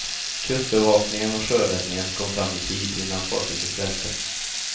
Kustbevakningen och sjöräddningen kom fram i tid innan fartyget välte.